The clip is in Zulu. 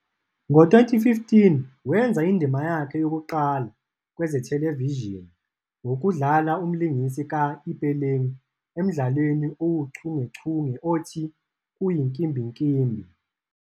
Ngo-2015, wenza indima yakhe yokuqala kwezethelevishini ngokudlala umlingisi ka-'Ipeleng' emdlalweni owuchungechunge othi "Kuyinkimbinkimbi".